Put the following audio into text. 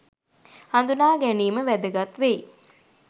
හඳුනා ගැනීම වැදගත් වෙයි.